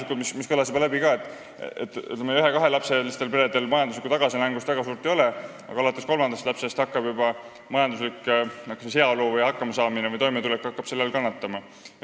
Siit juba kõlas läbi, et ühe- ja kahelapselistel peredel väga suurt majanduslikku tagasilangust ei ole, aga alates kolmandast lapsest hakkab pere majanduslik heaolu, hakkamasaamine või toimetulek kannatama.